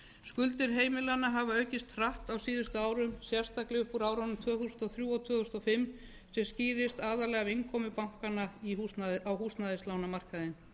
skuldir heimilanna hafa aukist hratt á síðustu árum sérstaklega upp úr árunum tvö þúsund og þrjú og tvö þúsund og fimm sem skýrist aðallega af innkomu bankanna á húsnæðislánamarkaðinn